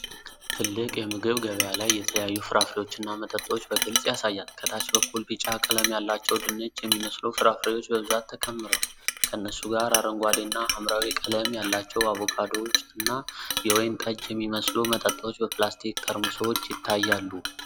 ትልቅ የምግብ ገበያ ላይ የተለያዩ ፍራፍሬዎችና መጠጦች በግልጽ ያሳያል። ከታች በኩል ቢጫ ቀለም ያላቸው ድንች የሚመስሉ ፍራፍሬዎች በብዛት ተከምረዋል። ከነሱ ጋር አረንጓዴ እና ሐምራዊ ቀለም ያላቸው አቮካዶዎች እና ወይን ጠጅ የሚመስሉ መጠጦች በፕላስቲክ ጠርሙሶች ይታያሉ።